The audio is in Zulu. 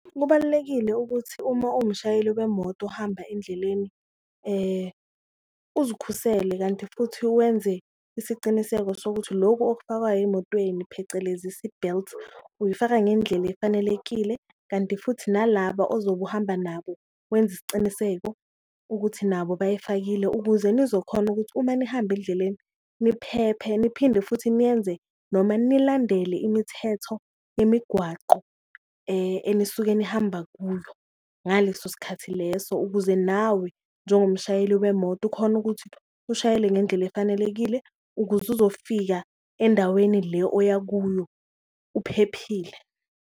Kubalulekile ukuthi uma uwumshayeli wemoto ohamba endleleni uzikhusele kanti, futhi wenze isiciniseko sokuthi loku okufakwayo emotweni phecelezi i-seatbelt uyifaka ngendlela efanelekile. Kanti futhi nalaba ozobe uhamba nabo wenze isiciniseko ukuthi nabo bayifakile ukuze nizokhona ukuthi uma nihamba endleleni niphephe, niphinde futhi niyenze noma nilandela imithetho yemigwaqo enisuke nihamba kuyo ngaleso sikhathi leso. Ukuze nawe njengomshayeli wemoto ukhone ukuthi ushayele ngendlela efanelekile ukuze uzofika endaweni le oya kuyo uphephile.